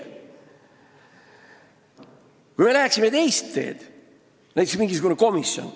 Oletame, et me läheksime teist teed ja teeksime näiteks mingisuguse komisjoni.